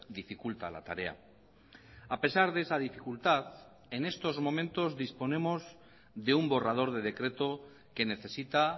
dificulta la tarea a pesar de esa dificultad en estos momentos disponemos de un borrador de decreto que necesita